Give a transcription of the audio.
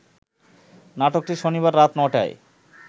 নাটকটি শনিবার রাত ৯টায়